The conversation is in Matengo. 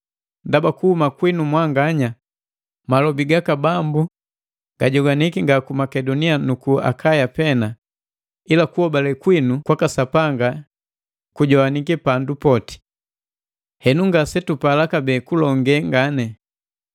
Ndaba, kuhuma kwinu mwanganya malobi gaka Bambu gajogwaniki nga ku Makedonia nuku Akaya pena, ila kuhobale kwinu kwaka Sapanga jijowaniki pandu poti. Henu ngasetupala kabee kulonge ngani.